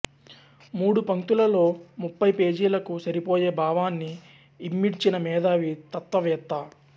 మూడు పంక్తులలో ముప్ఫై పేజీలకు సరిపోయే భావాన్ని ఇమిడ్చిన మేధావి తత్వ వేత్త